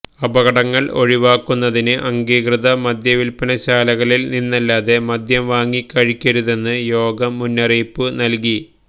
അപകടങ്ങള് ഒഴിവാക്കുന്നതിന് അംഗീകൃത മദ്യവില്പ്പനശാലകളില് നിന്നല്ലാതെ മദ്യം വാങ്ങി കഴിക്കരുതെന്ന് യോഗം മുന്നറിയിപ്പ് നല്കി